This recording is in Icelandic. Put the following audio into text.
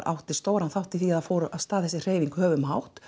átti stóran þátt í því að það fór af stað þessi hreyfing höfum hátt